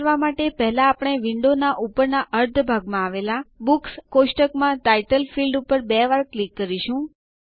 આ કરવાં માટે પહેલા આપણે વિન્ડો ના ઉપરનાં અર્ધા ભાગમાં આવેલાં બુક્સ ટેબલ કોષ્ટક માં ટાઇટલ ફીલ્ડ ક્ષેત્ર ઉપર બે વાર ક્લિક કરીશું